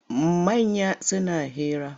Manya suna hira.